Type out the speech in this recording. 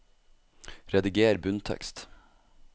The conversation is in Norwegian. Rediger bunntekst